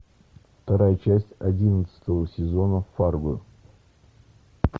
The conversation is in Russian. вторая часть одиннадцатого сезона фарго